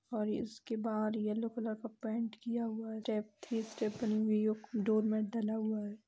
और इसके बाहर येलो कलर का पेंट किया हुआ है डोर मेट डला हुआ है।